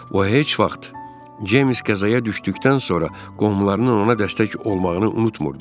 O heç vaxt Ceymis qəzaya düşdükdən sonra qohumlarının ona dəstək olmağını unutmurdu.